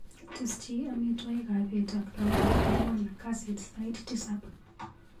Tesyi amitwogikap bet ak Laura kwang'an kasit sait tisap.